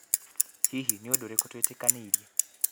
Hihi, Nĩ ũndũ ũrĩkũ twetĩkanĩire?